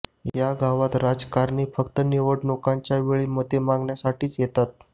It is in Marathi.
या गावात राजकारणी फक्त निवडणुकांच्या वेळी मते मागण्यासाठीच येतात